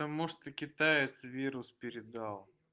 там может и китаец вирус передал